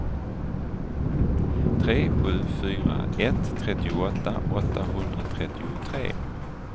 tre sju fyra ett trettioåtta åttahundratrettiotre